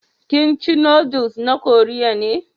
Kimchi noodles na Koriya ne.